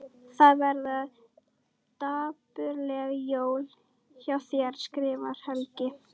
Það verða dapurleg jól hjá þér skrifar Helgi.